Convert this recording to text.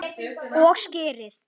Og skyrið!